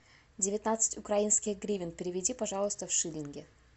девятнадцать украинских гривен переведи пожалуйста в шиллинги